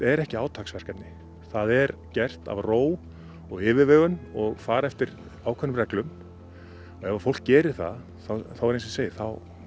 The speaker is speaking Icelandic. er ekki átaksverkefni það er gert af ró og yfirvegun og farið eftir ákveðnum reglum ef ef fólk gerir það þá